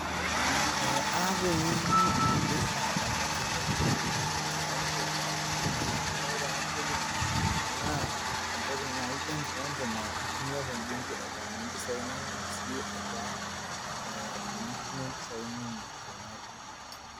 aata engeno naipirts ena amuu entoki naajo enkipande nintinye impisai inonok tebenki